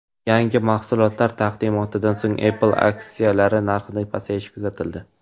Yangi mahsulotlar taqdimotidan so‘ng Apple aksiyalari narxida pasayish kuzatildi.